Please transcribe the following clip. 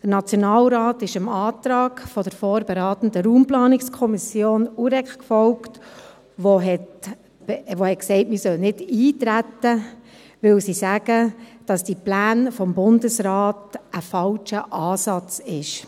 Der Nationalrat ist dem Antrag der vorberatenden Kommission für Umwelt, Raumplanung und Energie des Nationalrats (UREK-N) gefolgt, die gesagt hat, man solle nicht eintreten, weil die Pläne des Bundesrates einen falschen Ansatz aufweisen.